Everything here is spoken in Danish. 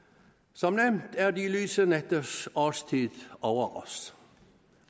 som nævnt er de lyse nætters årstid over os